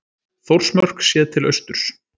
þórsmörk séð til austurs